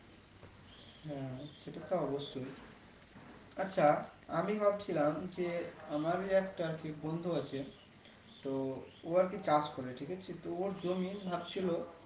হ্যাঁ সেটা তো অবশ্যই আচ্ছা আমি ভাবছিলাম যে আমারি একটা ঠিক বন্ধু আছে তো ও আরকি চাষ করে ঠিক আছে তো ওর জমি ভাবছিলো